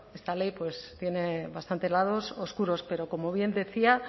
esta ley pues tiene bastantes lados oscuros pero como bien decía